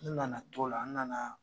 N nana to la, n nana.